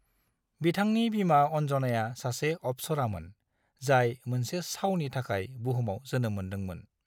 बिथांनि बिमा अन्जनाया सासे अप्सरामोन, जाय मोनसे सावनि थाखाय बुहुमाव जोनोम मोनदोंमोन।